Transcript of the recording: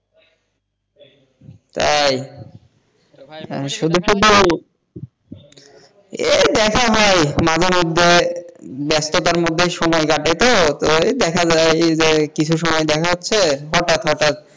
তাই শুধু শুধু এই দেখা হয় মাঝে মধ্যে ব্যস্ততার মধ্যে সময় কাটে তো ওই দেখা যায় যে কিছু সময় দেখা হচ্ছে হটাৎ হটাৎ,